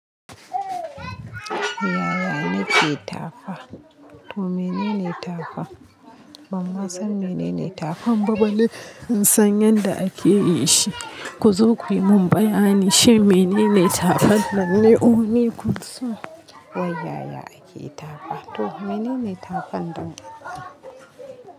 Yaya na ke tafa? To menene tafa? Ban ma san menene tafin ba balle. Ban san yadda ake yi shi. Ku zo ku yi mun bayani, shi menene tafa nan ne? O ni kun so? Wai yaya ake tafa? To menene tafa nnan?